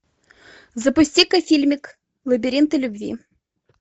запусти ка фильмик лабиринты любви